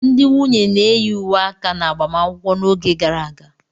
Ndị nwunye na-eyi uwe aka n'agbamakwụkwọ n'oge gara aga.